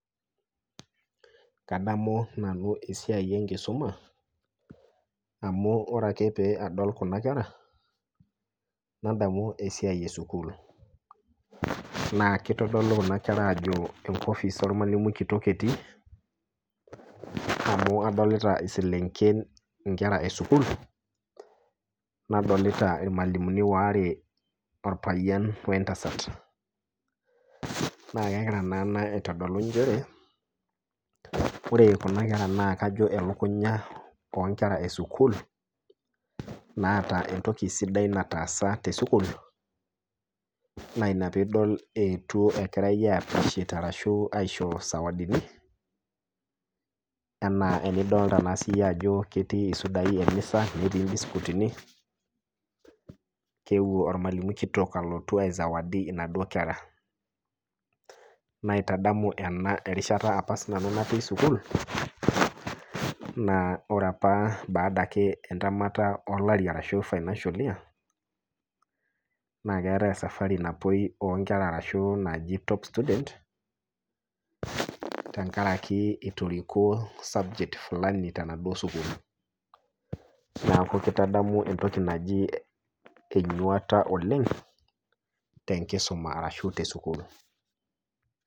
Kadamu nanu esiai enkisuma amu ore ake pee adol Kuna kera nadamu esiai esukul. naa kitodolu kuan kera ajo enkopis ormalimui kitok etii emu adolita iselenken nkera esukul ,nadolita imwalimuni waare orpayian wentasat ,naa kegira naa ena aitodolu nchere ore Kuna kera naa kajo elukunya onkera esukul naata entoki sidai nataasa tesukul naa ina pee idol eetu engirae aiapreciate ashu ishoritae sawadini ,ena enidolita ssiyie ajo ketii sidai emisa netii mbisikuitini keeuo ormalimuni kitok alotu aisawadi naduo kera .naitadamu ena erishata apa natii siiananu sukul ,naa ore apa baada entamata olari ashu financial year naa keetae safari onkera napoi naji top student tenakaraki itoriko subject fulani tenaduo sukul, neeku kaitadamu entoki naji enyuata oleng tenkusuma ashu tesukul.